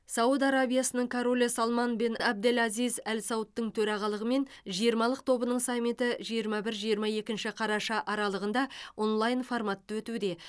сауд арабиясының королі салман бен әбдел әзиз әл саудтың төрағалығымен жиырмалық тобының саммиті жиырма бір жиырма екінші қараша аралығында онлайн форматта өтуде